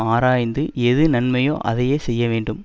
ஆராய்ந்து எது நன்மையோ அதையே செய்ய வேண்டும்